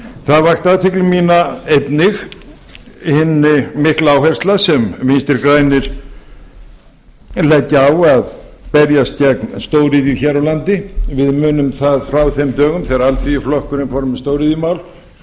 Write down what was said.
það vakti athygli mína einnig hin mikla áhersla sem vinstri grænir leggja á að berjast gegn stóriðju hér á landi við munum það frá þeim dögum þegar alþýðuflokkurinn fór með stóriðjumál